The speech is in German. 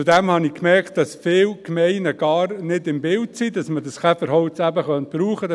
Zudem habe ich gemerkt, dass viele Gemeinden gar nicht im Bilde sind, dass man dieses Käferholz eben brauchen könnte.